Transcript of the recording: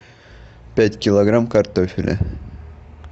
пять килограмм картофеля